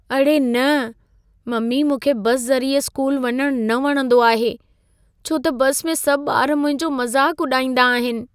अड़े न! ममी मूंखे बस ज़रिए स्कूल वञण न वणंदो आहे। छो त बस में सभ ॿार मुंहिंजो मज़ाक उॾाईंदा आहिन।